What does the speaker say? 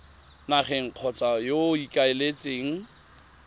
nageng kgotsa yo o ikaeletseng